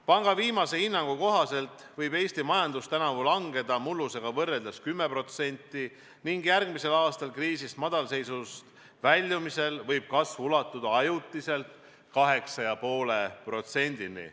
Panga viimase hinnangu kohaselt võib Eesti majandus tänavu langeda mullusega võrreldes 10% ning järgmisel aastal kriisist, madalseisust väljumisel võib kasv ulatuda ajutiselt 8,5%-ni.